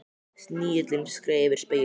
Snigillinn skreið yfir spegilinn.